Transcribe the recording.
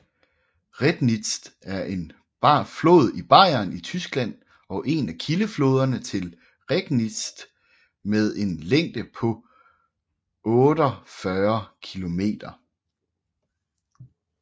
Rednitz er en flod i Bayern i Tyskland og en af kildefloderne til Regnitz med en længde på 48 km